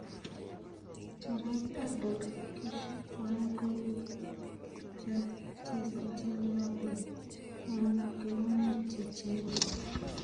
Gerrard ak Dalgish tuan kokikochesanchin Liverpool eng' kelunaik cheechen.